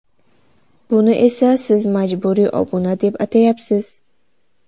Buni esa siz majburiy obuna deb atayapsiz.